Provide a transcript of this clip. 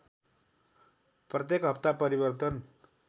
प्रत्येक हप्ता परिवर्तन